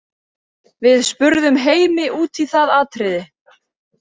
Við spurðum Heimi út í það atriði.